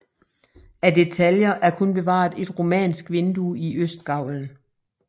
Af detaljer er kun bevaret et romansk vindue i østgavlen